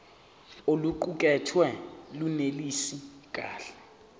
oluqukethwe lunelisi kahle